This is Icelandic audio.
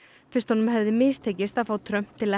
fyrst honum hefði mistekist að fá Trump til